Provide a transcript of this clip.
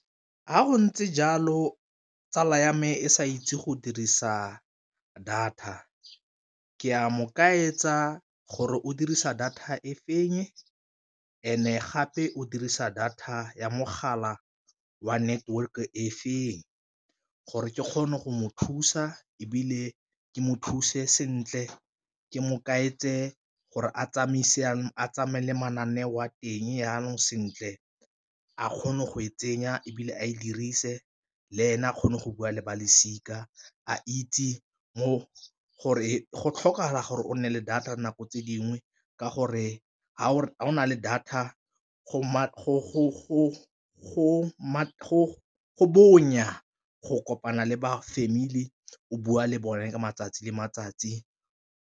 Ga go ntse jalo tsala ya me e sa itse go dirisa data ke a mo ka etsa gore o dirisa data e feng and-e gape o dirisa data ya mogala wa network e feng, gore ke kgone go mo thusa ebile ke mo thuse sentle ke mo kae etse gore a tsamaye le mananeo a teng jaanong sentle a kgone go e tsenya ebile a e dirise leene a kgone go bua le balosika, a itse mo gore go tlhokagala gore o nne le data nako tse dingwe ka gore ga go na le data go bonya go kopana le ba family o bua le bone matsatsi le matsatsi.